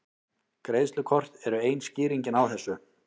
Greiðslukort eru ein skýringin á þessu.